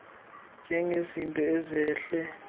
zithathwa njengezinto ezehle